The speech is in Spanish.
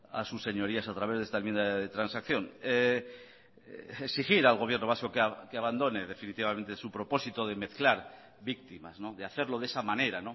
a sus señorías a través de esta enmienda de transacción exigir al gobierno vasco que abandone definitivamente su propósito de mezclar víctimas de hacerlo de esa manera